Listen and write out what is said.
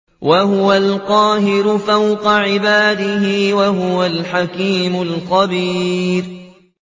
وَهُوَ الْقَاهِرُ فَوْقَ عِبَادِهِ ۚ وَهُوَ الْحَكِيمُ الْخَبِيرُ